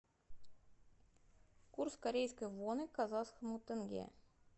курс корейской воны к казахскому тенге